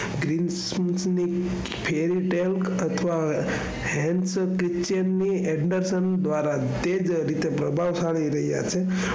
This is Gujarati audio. અથવા hands, circulation ની અંદરસોં દવારા બરબાદ થઇ રહ્યા છે.